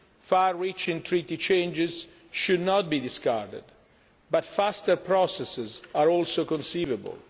open. Far reaching Treaty changes should not be discarded, but faster processes are also conceivable.